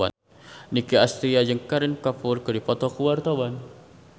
Nicky Astria jeung Kareena Kapoor keur dipoto ku wartawan